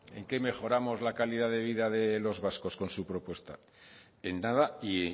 en qué mejoramos la calidad de vida de los vascos con su propuesta en nada y